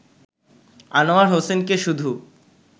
আনোয়ার হোসেনকে শুধু